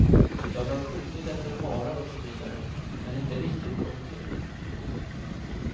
Jag har skjutit efter harar och så vidare, men inte riktigt kommit till.